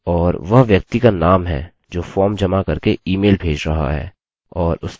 और वह व्यक्ति का नाम है जो फॉर्म जमा करके ईमेलemail भेज रहा है